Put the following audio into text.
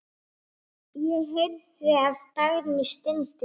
Ég heyrði að Dagný stundi.